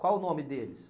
Qual o nome deles?